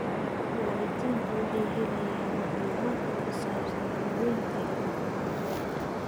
Waalidiintu waxay helayaan macluumaadka ku saabsan daaweynta iyo tallaalada.